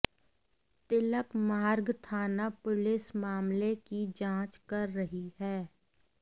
तिलक मार्ग थाना पुलिस मामले की जांच कर रही है